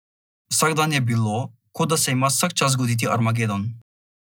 Vsak dan je bilo, kot da se ima vsak čas zgoditi armagedon.